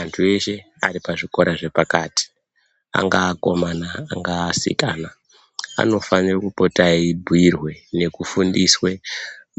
Antu eshe ari pazvikora zvepakati angaa akomana, angaa asikanai anofanire kupota eibhuirwe nekufundiswe